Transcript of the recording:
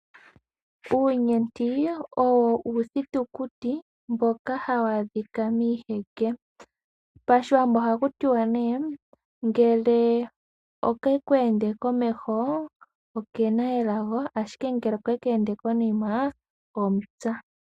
Uunyenti owo uuthitukuti mboka hawu adhika miiheke. Pashiwambo ohakutiwa ne ngele okeku ende komeho owuna elago ashike ngele okeku ende konima omupya.